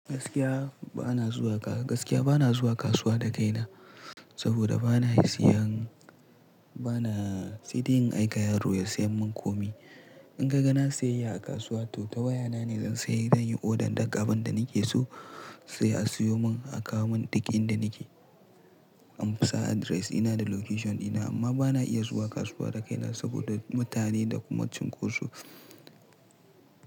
Gaskiya bana zuwa ka, gaskiya bana zuwa kasuwa da kaina saboda bana siyan, bana siyan sai dai in aika yaro ya siyan mun komi. In kaga nayi siyayya a kasuwa to ta waya na ne zan sayi, zan yi order daga abin da nake so sai a siyo mun a kawo mun duk inda nake. An sa address, ina da location dina amma bana iya zuwa kasuwa da kaina saboda mutane da kuma cunkoso.